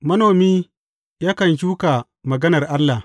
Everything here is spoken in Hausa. Manomi yakan shuka maganar Allah.